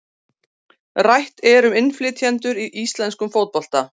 Rætt er um innflytjendur í íslenskum fótbolta.